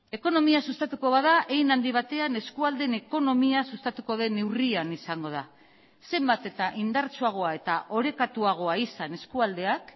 ekonomia sustatuko bada hein handi batean eskualdeen ekonomia sustatuko den neurrian izango da zenbat eta indartsuagoa eta orekatuagoa izan eskualdeak